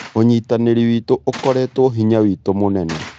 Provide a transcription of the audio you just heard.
ũnyitanĩri witũ ũkoretwo hinya witũ mũnene.